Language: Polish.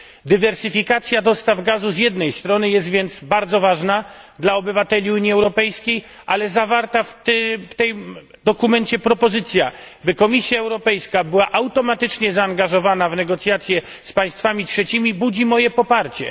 Dywersyfikacja dostaw gazu z jednej strony jest więc bardzo ważna dla obywateli Unii Europejskiej, ale zawarta w tym dokumencie propozycja, by Komisja Europejska była automatycznie zaangażowana w negocjacje z państwami trzecimi, budzi moje poparcie.